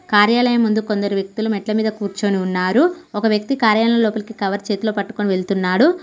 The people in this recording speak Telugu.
కార్యాలయం ముందు కొందరు వ్యక్తులు మెట్ల మీద కూర్చొని ఉన్నారు ఒక వ్యక్తి కార్యాలయం లోపలికి కవర్ చేతిలో పట్టుకొని వెళ్తున్నాడు.